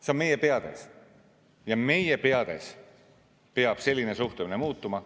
See on meie peades ja meie peades peab selline suhtumine muutuma.